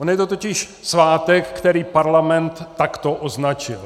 On je to totiž svátek, který Parlament takto označil.